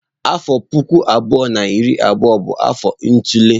Afọ puku abụọ na iri abụọ bụ afọ itule.